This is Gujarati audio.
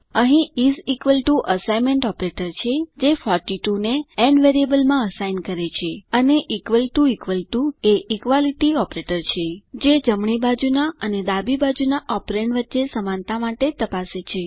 અહીં is equal to assignment operator છે જે 42 ને ન વેરિયેબલમાં અસાઇન કરે છે અને ઇકવલ ટુ ઇકવલ ટુ એ ઇક્વાલીટી ઓપરેટર છે જે જમણી બાજુના અને ડાબી બાજુના ઓપરેન્ડ વચ્ચે સમાનતા માટે ચકાસે છે